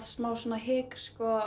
smá hik